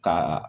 Ka